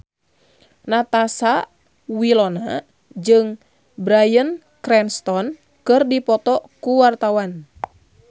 Natasha Wilona jeung Bryan Cranston keur dipoto ku wartawan